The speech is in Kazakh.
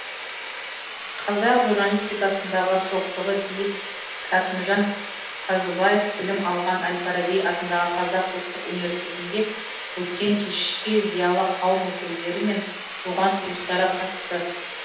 қазақ журналистикасындағы шоқтығы биік кәкімжан қазыбаев білім алған әл фараби атындағы қазақ ұлттық университетінде өткен кешке зиялы қауым өкілдері мен туған туыстары қатысты